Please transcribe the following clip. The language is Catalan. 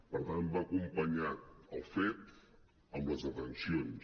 per tant va acompanyat el fet amb les detencions